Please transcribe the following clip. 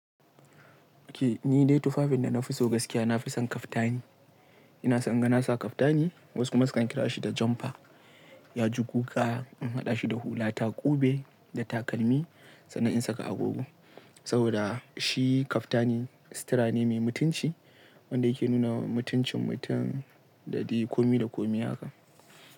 Okay, ni dai tufafin da na fi so gaskiya na fi son kaftani. Ina son ganasa kaftani wasu ma su kan kira shi da jumper. Ya ji guga, an haɗa shi da hulata, ƙube da takalmi sana'in saka agogo. Saboda shi kaftani sitara ne mai mutunci wanda yake nuna wa mutuncin mutum da dai kome da kome haka.